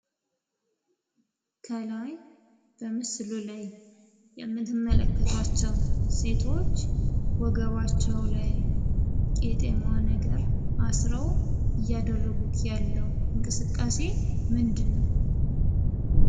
ከላይ በምስሉ ላይ የምንመለከታቸው ሴቶች ወገባቸው ላይ ቂጤማ ነገር አስረው እያደረጉት ያለው እንቅስቃሴ ምንድነው?